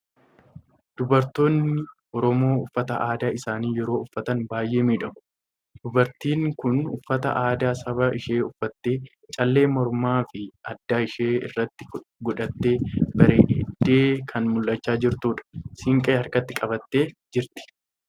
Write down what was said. Dubartoonni Oromoo uffata aadaa isaanii yeroo uffatan baay'ee miidhagu! Dubartiin kun uffata aadaa saba ishii uffattee, callee mormaa fi adda ishii irratti godhattee bareeddee kan mul'achaa jirtudha. Siinqee harkatti qabattee jirti.